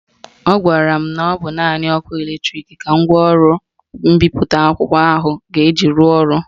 Ọ gwara m na ọ bụ naanị ọkụ latrik ka ngwaọrụ mbipụta ahụ ga-eji rụọ ọrụ